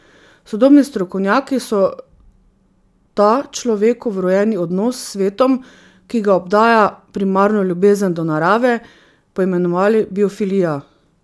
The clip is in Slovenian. Sodobni strokovnjaki so ta človeku vrojeni odnos s svetom, ki ga obdaja, primarno ljubezen do narave, poimenovali biofilija.